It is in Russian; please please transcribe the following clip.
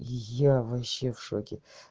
я вообще в шоке